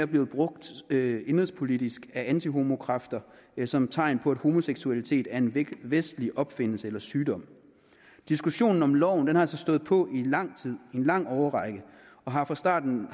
blevet brugt indenrigspolitisk af antihomokræfter som tegn på at homoseksualitet er en vestlig opfindelse eller sygdom diskussionen om loven har altså stået på i lang tid i en lang årrække og har fra starten